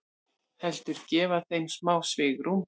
Heldur gefa þeim smá svigrúm.